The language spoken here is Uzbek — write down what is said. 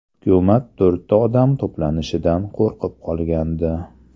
Hukumat to‘rtta odam to‘planishidan qo‘rqib qolgandi.